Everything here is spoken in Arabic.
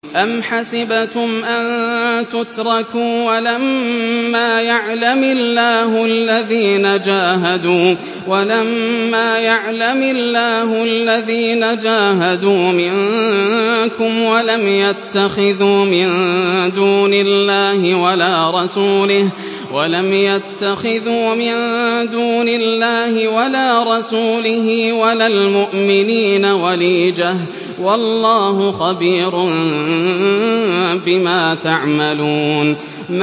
أَمْ حَسِبْتُمْ أَن تُتْرَكُوا وَلَمَّا يَعْلَمِ اللَّهُ الَّذِينَ جَاهَدُوا مِنكُمْ وَلَمْ يَتَّخِذُوا مِن دُونِ اللَّهِ وَلَا رَسُولِهِ وَلَا الْمُؤْمِنِينَ وَلِيجَةً ۚ وَاللَّهُ خَبِيرٌ بِمَا تَعْمَلُونَ